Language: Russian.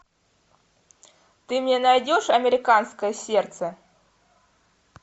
ты мне найдешь американское сердце